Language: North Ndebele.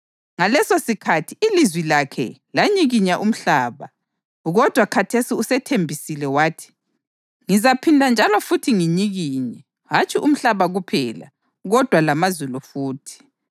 Ngalesosikhathi ilizwi lakhe lanyikinya umhlaba, kodwa khathesi usethembisile wathi: “Ngizaphinda njalo futhi nginyikinye, hatshi umhlaba kuphela, kodwa lamazulu futhi.” + 12.26 UHagayi 2.6